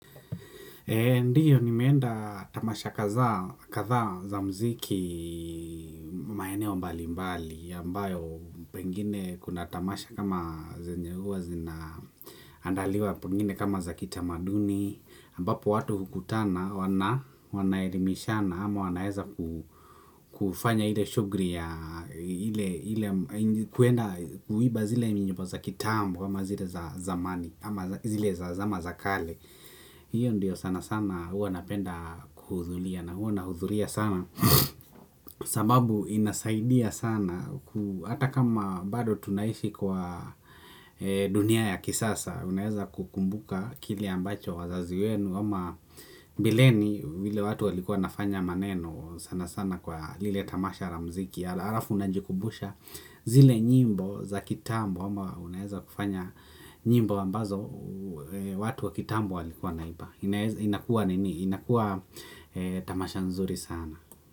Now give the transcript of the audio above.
Ndio nimeenda tamasha kaza, kadhaa za mziki. Maeneo mbali mbali ambayo pengine kuna tamasha kama zenye huwa zina, andaliwa pengine kama za kitamaduni ambapo watu hukutana wanaelimishana ama wanaeza ku, kufanya ile shugli ya kuenda kuiba zile ni nyimbo za kitambo ama zile za zamani ama zile za zama za kale. Hiyo ndio sana sana huwa napenda kuhuzulia na hua nahudhuria sana, sababu inasaidia sana, hata kama bado tunaishi kwa dunia ya kisasa unaeza kukumbuka kile ambacho wazazi wenu ama mbeleni vile watu walikuwa wanafanya maneno sana sana kwa lile tamasha la mziki, arafu najikumbusha zile nyimbo za kitambo ama unaeza kufanya nyimbo ambazo, watu wa kitambo walikuwa wanaimba. Inaeza, inakuwa nini, inakuwa tamasha nzuri sana.